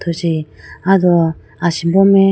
wuji aye do asimbo mai.